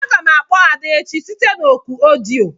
Aga m akpọ Ada echi site òkù odio.